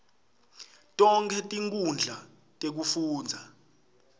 tonkhe tinkhundla tekufundza